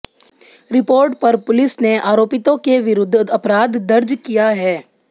report पर police ने आरोपितों के विरुद्ध अपराध दर्ज किया है